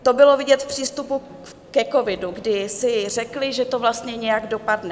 To bylo vidět v přístupu ke covidu, kdy si řekli, že to vlastně nějak dopadne.